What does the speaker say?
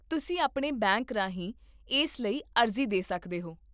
ਤੁਸੀਂ ਆਪਣੇ ਬੈਂਕ ਰਾਹੀਂ ਇਸ ਲਈ ਅਰਜ਼ੀ ਦੇ ਸਕਦੇ ਹੋ